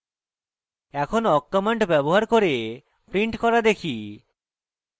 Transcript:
এখন awk command ব্যবহার করে print করা দেখি